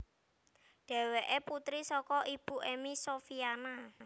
Dheweké putri saka Ibu Emmy Sofyana